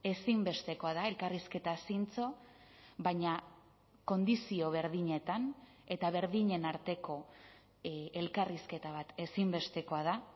ezinbestekoa da elkarrizketa zintzo baina kondizio berdinetan eta berdinen arteko elkarrizketa bat ezinbestekoa da